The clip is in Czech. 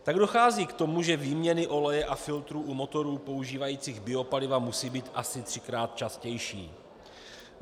Tak dochází k tomu, že výměny oleje a filtrů u motorů používající biopaliva musí být asi třikrát častější.